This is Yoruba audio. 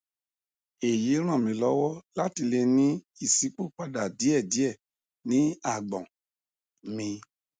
èyí ràn mí lọwọ láti lè ní ìṣípòpadà díẹ díẹ ní àgbọn mi